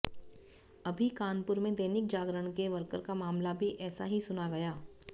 अभी कानपुर में दैनिक जागरण के वर्कर का मामला भी ऐसा ही सुना गया